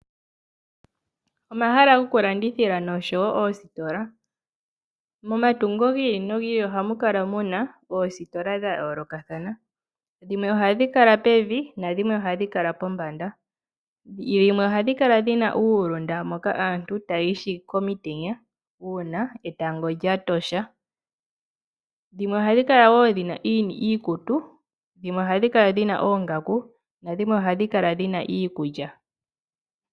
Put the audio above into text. Omahala goku landithila noshowo oositola. Momatungo gi ili nogi ili ohamu kala muna oositola dha yoolokathana, dhimwe ohadhi kala pevi nadhimwe ohadhi kala pombanda, dhimwe ohadhi kala dhina uulunda mboka aantu taya ishingi komitenya uuna etango lya tosha, dhimwe ohadhi kala wo dhina iikutu, dhimwe ohadhi kala dhina oongaku nadhimwe ohadhi kala dhina iikulya.